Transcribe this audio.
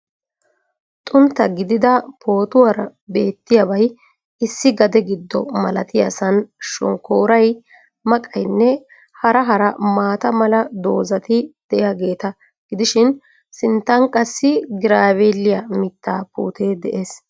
Xuntta gidida pootuwaara beettiyabay issi gade gido malattiyaasaan shonkkoray, maqqaynne hara hara maata mala dozzatti diyagewta gidishshin sinttan qassi graaviiliya mittaa putee dees.